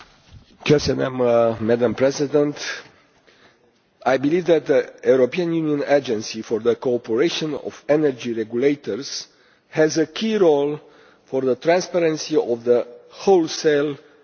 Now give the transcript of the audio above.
Madam President, I believe that the European Union Agency for the Cooperation of Energy Regulators has a key role for the transparency of the wholesale energy market.